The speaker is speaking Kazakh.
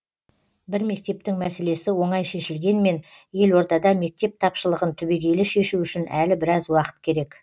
бір мектептің мәселесі оңай шешілгенмен елордада мектеп тапшылығын түбегейлі шешу үшін әлі біраз уақыт керек